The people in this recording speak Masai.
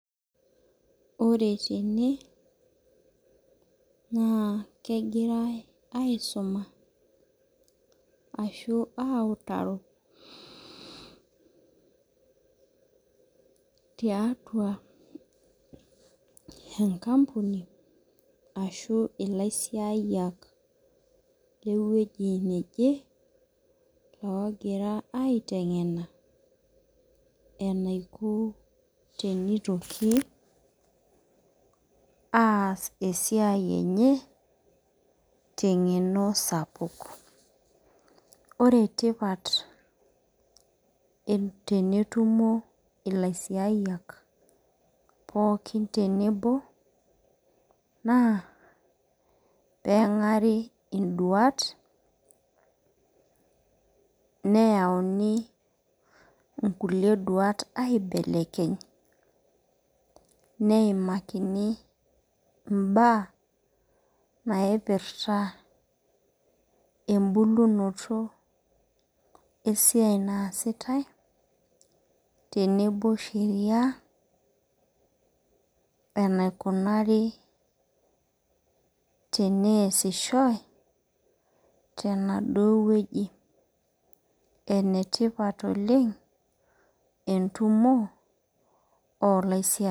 Ore tene naa kengirae aisuma ashu, autaro tiatua enkapuni ashu, ilaisiayiak le wueji neje logira aitengena enaiko tenitoki ass esiai enye tengeno sapuk. Ore tipat tenetumo ilaisiayiak pookin tenebo naa pee engari iduat neyauni ikulie duat aibelekeny neimakini imbaa naipirta ebulunoto esiai naasitae tenebo Sheria enaikunari teneasishoi tenaduo wueji. Enetipat oleng etumo olaisiayiak.